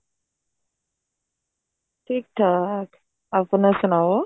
ਠੀਕ ਠਾਕ ਆਪਣਾ ਸੁਣਾਓ